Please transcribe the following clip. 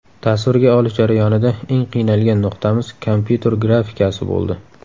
Tasvirga olish jarayonida eng qiynalgan nuqtamiz kompyuter grafikasi bo‘ldi.